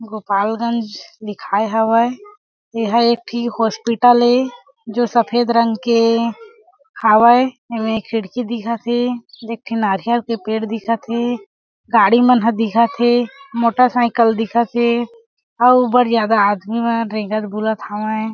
गोपाल गंज दिखाए हा वय एहा एक ठी हॉस्पिटल ए सफेद रंग के हावय एमे खिड़की दिखत हे एक ठी नारियल के पेड़ दिखत हे गाड़ी मन ह दिखत हे मोटोर साइकिल दिखत हे अउ बढ़ ज्यादा आदमी मन रेंगत बोलत हे।